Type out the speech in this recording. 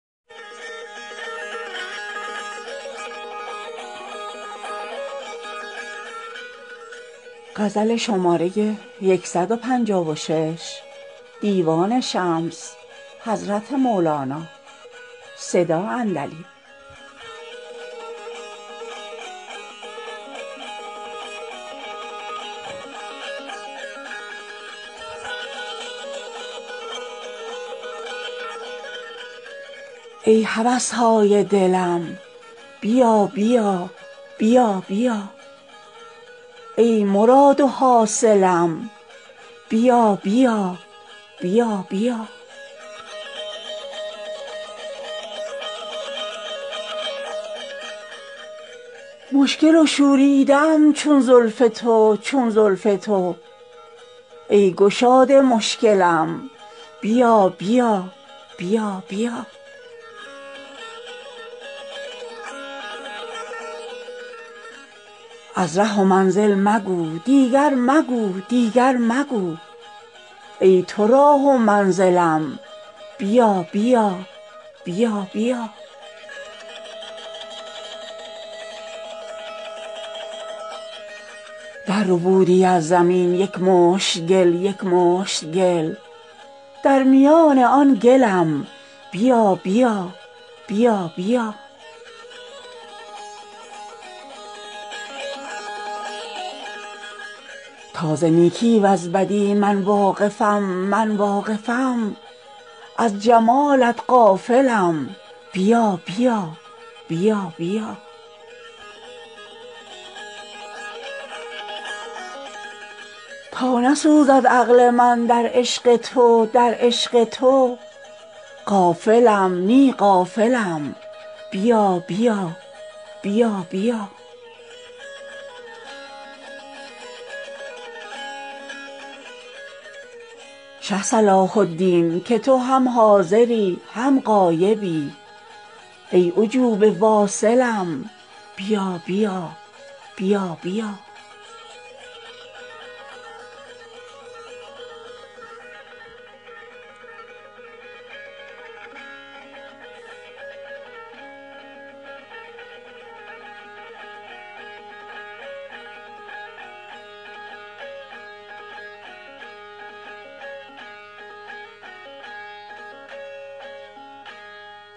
ای هوس های دلم بیا بیا بیا بیا ای مراد و حاصلم بیا بیا بیا بیا مشکل و شوریده ام چون زلف تو چون زلف تو ای گشاد مشکلم بیا بیا بیا بیا از ره منزل مگو دیگر مگو دیگر مگو ای تو راه و منزلم بیا بیا بیا بیا درربودی از زمین یک مشت گل یک مشت گل در میان آن گلم بیا بیا بیا بیا تا ز نیکی وز بدی من واقفم من واقفم از جمالت غافلم بیا بیا بیا بیا تا نسوزد عقل من در عشق تو در عشق تو غافلم نی عاقلم باری بیا رویی نما شه صلاح الدین که تو هم حاضری هم غایبی ای عجوبه واصلم بیا بیا بیا بیا